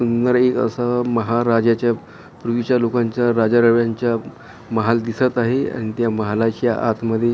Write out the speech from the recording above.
सुंदर एक असं महाराजाच्या पूर्वीच्या लोकांच्या राजा रवांचा महाल दिसत आहे आणि त्या महालाच्या आतमध्ये--